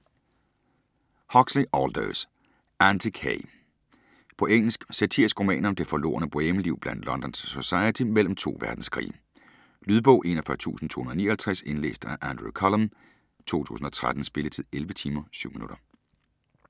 Huxley, Aldous: Antic hay På engelsk. Satirisk roman om det forlorne bohemeliv blandt Londons society mellem to verdenskrige. Lydbog 41259 Indlæst af Andrew Cullum, 2013. Spilletid: 11 timer, 7 minutter.